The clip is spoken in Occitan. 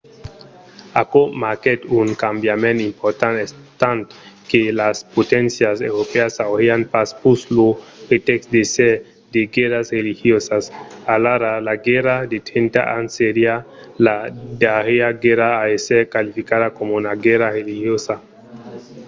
aquò marquèt un cambiament important estant que las poténcias europèas aurián pas pus lo pretèxt d'èsser de guèrras religiosas. alara la guèrra de trenta ans seriá la darrièra guèrra a èsser qualificada coma una guèrra religiosa